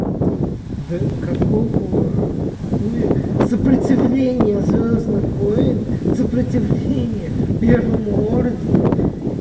до какого хуя сопротивление звёздных войн сопротивление первому ордену